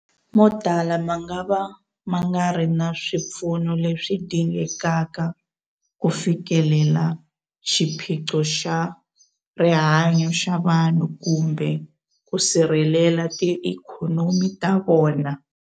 Motala mangava ma nga ri na swipfuno leswi dingekaka ku fikelela xiphiqo xa rihanyu ra vanhu kumbe ku sirhelela tiikhonomi ta vona.